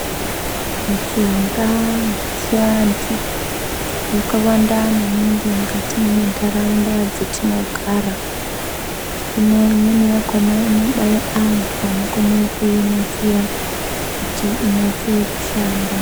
Mishonga yechiantu yakawanda maningi mukati mentaraunda dzetinogara, hino imweni yakona inode antu anokone kuinasira kuti inase kushanda.